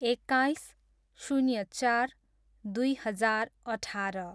एक्काइस, शून्य चार, दुई हजार अठार